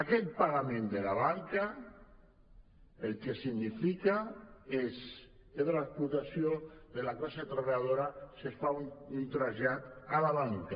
aquest pagament de la banca el que significa és l’explotació de la classe treballadora se’n fa un trasllat a la banca